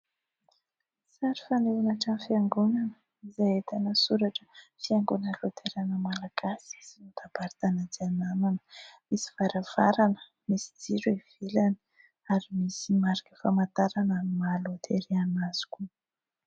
Sary fanehoana trano fiangonana izay ahitana soratra : "Fiangonana Laterana Malagasy sy foiben'ny Synodam-paritany Antsiranana". Misy varavarana, misy jiro ivelany ary misy marika famantarana ny maha-Loterana azy koa.